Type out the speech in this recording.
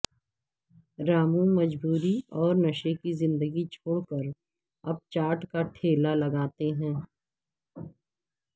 رامو مجبوری اور نشے کی زندگی چھوڑ کر اب چاٹ کا ٹھیلا لگاتے ہیں